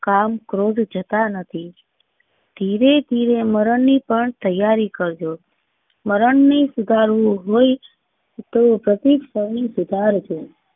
કામ ક્રોધ જતા નથી. ધીરે ધીરે મરણ ની પણ તૈયારી કર જો મરણ ને સુધાર વું હોય તો પ્રતીક સમી સુધાર જો.